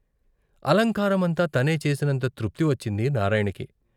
అలంకారమంతా తనే చేసినంత తృప్తి వచ్చింది నారాయణకి.